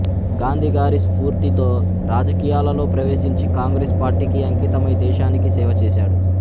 గాంధీగారి స్ఫూర్తితో రాజకీయాలలో ప్రవేశించి కాంగ్రెస్ పార్టీకి అంకితమై దేశానికి సేవ చేశాడు